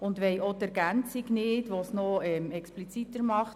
Wir wollen auch die Ergänzung nicht, welche das noch expliziter macht.